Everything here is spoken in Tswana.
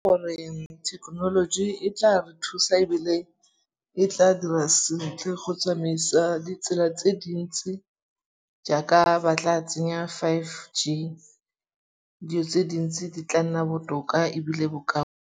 Gore thekenoloji e tla re thusa ebile e tla dira sentle go tsamaisa ditsela tse dintsi jaaka ba tla tsenya Five G. Di'o tse dintsi di tla nna botoka ebile bo ka